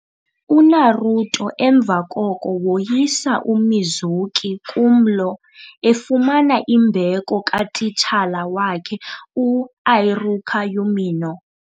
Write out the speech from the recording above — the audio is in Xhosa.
UNaruto emva koko woyisa uMizuki kumlo, efumana imbeko katitshala wakhe u-Iruka Umino.